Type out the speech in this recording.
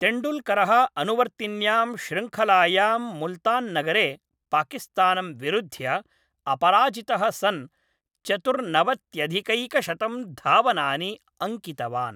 तेण्डुल्करः अनुवर्तिन्यां श्रृङ्खलायां मुल्तान्नगरे पाकिस्तानं विरुद्ध्य अपराजितः सन् चतुर्नवत्यधिकैकशतं धावनानि अङ्कितवान्।